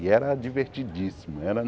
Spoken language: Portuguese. E era divertidíssimo.